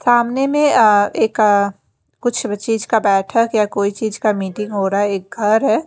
सामने मे अह एक अह कुछ व चीज का बैठक या कोई चीज का मीटिंग हो रहा है एक घर है।